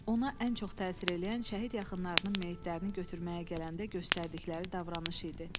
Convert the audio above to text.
Ona ən çox təsir eləyən şəhid yaxınlarının meyitlərini götürməyə gələndə göstərdikləri davranış idi.